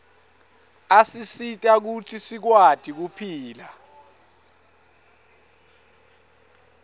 asisita kutsi sikwati kuphila